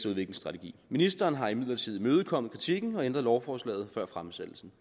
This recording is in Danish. udviklingsstrategi ministeren har imidlertid imødekommet kritikken og ændret lovforslaget før fremsættelsen